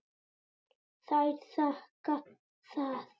Þær þakka það.